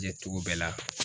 cogo bɛɛ la.